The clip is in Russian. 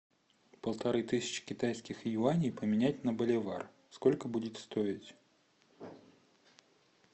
полторы тысячи китайских юаней поменять на боливар сколько будет стоить